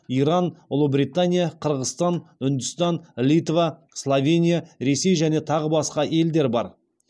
иран ұлыбритания қырғызстан үндістан литва словения ресей және тағы басқа елдер бар